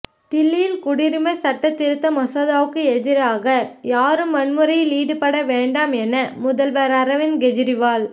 தில்லியில் குடியுரிமை சட்டத் திருத்த மசோதாவுக்கு எதிராக யாரும் வன்முறையில் ஈடுபட வேண்டாம் என முதல்வர் அரவிந்த் கேஜரிவால்